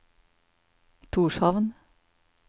Tórshavn